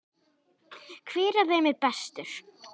Hver af þeim er bestur?